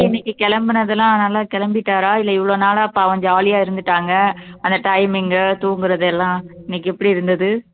இன்னைக்கு கிளம்புனது எல்லாம் நல்லா கிளம்பிட்டாரா இல்லை இவ்வளவு நாளா பாவம் jolly யா இருந்துட்டாங்க அந்த timing உ தூங்குறது எல்லாம் இன்னைக்கு எப்படி இருந்தது